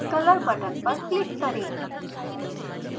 colors button पर click करें